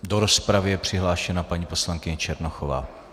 Do rozpravy je přihlášena paní poslankyně Černochová.